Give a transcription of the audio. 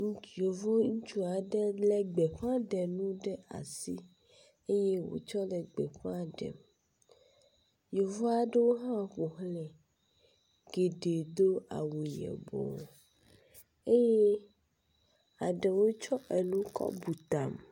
Yevu ŋutsu aɖe lé gbeƒãɖenu ɖe asi eye wotsɔ le gbeƒã ɖem. Yevu aɖewo hã ƒo xlãe. Geɖe do awu yibɔ eye eɖewo tsɔ enu kɔ bu ta.